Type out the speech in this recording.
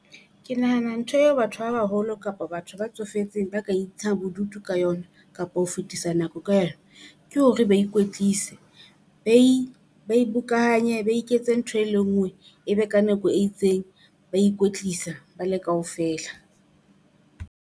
Ke nahana ntho eo batho ba baholo kapa batho ba tsofetseng ba ka intsha bodutu ka yona kapa ho fetisa nako ka yona, ke hore ba ikwetlisa. Bokanye ba iketse ntho e le ngwe e be ka nako e itseng, ba ikwetlisa ba le kaofela.